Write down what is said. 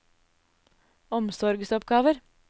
omsorgsoppgaver